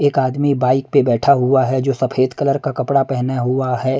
एक आदमी बाइक पे बैठा हुआ है जो सफेद कलर का कपड़ा पहना हुआ है।